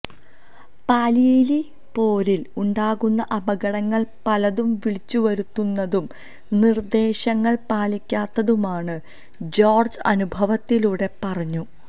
പാണിയേലി പോരില് ഉണ്ടാകുന്ന അപകടങ്ങള് പലതും വിളിച്ചു വരുത്തുന്നതും നിര്ദ്ദേശങ്ങള് പാലിക്കാത്തതുമാണ് ജോര്ജ് അനുഭവത്തിലുടെ പറഞ്ഞു